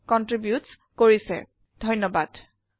ঘে কনট্ৰিবিউট কৰিছে। ধন্যবাদ।